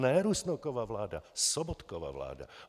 Ne Rusnokova vláda. Sobotkova vláda.